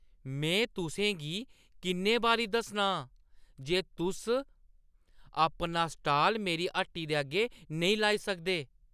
में तुसें गी किन्ने बारी दस्सना आं जे तुस अपना स्टाल मेरी हट्टी दे अग्गें नेईं लाई सकदे?